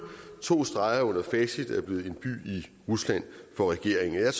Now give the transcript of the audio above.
to streger under facit er blevet en by i rusland for regeringen jeg